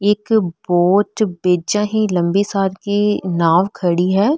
एक बोच बेजा है लम्बी सार की नाव खडी है।